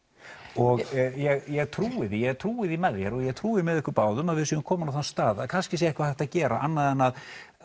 og ég trúi því ég trúi því með þér og ég trúi því með ykkur báðum að við séum komin á þann stað að kannski sé eitthvað hægt að gera annað en að